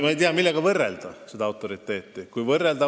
Ma ei tea, millega seda autoriteeti võrrelda.